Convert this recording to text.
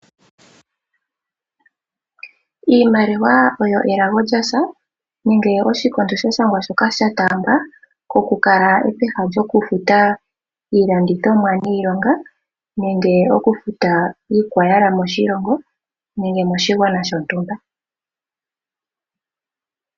Iimaliwa oyo elago lyasha nenge oshikondo sha shangwa shoka shataambwa oku kala ehala lyoku futa iilandithomwa niilonga nenge oku futa iikwayala moshilongo nenge moshigwana shontumba.